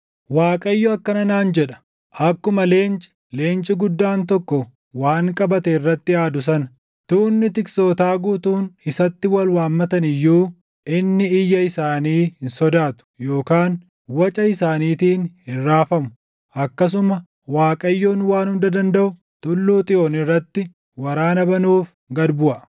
Waaqayyo akkana naan jedha: “Akkuma leenci, leenci guddaan tokko waan qabate irratti aadu sana, tuunni tiksootaa guutuun isatti wal waammatan iyyuu, inni iyya isaanii hin sodaatu; yookaan waca isaaniitiin hin raafamu; akkasuma Waaqayyoon Waan Hunda Dandaʼu Tulluu Xiyoon irratti waraana banuuf gad buʼa.